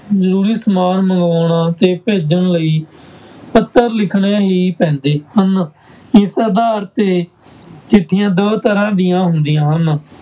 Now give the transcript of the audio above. ਜ਼ਰੂਰੀ ਸਮਾਨ ਮੰਗਵਾਉਣਾ ਅਤੇ ਭੇਜਣ ਲਈ ਪੱਤਰ ਲਿਖਣੇ ਹੀ ਪੈਂਦੇ ਹਨ, ਇਸ ਆਧਾਰ ਤੇ ਚਿੱਠੀਆਂ ਦੋ ਤਰ੍ਹਾਂ ਦੀਆਂ ਹੁੰਦੀਆਂ ਹਨ।